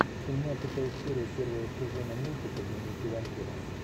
семнадцатая серия первого сезона мультика дневники вампира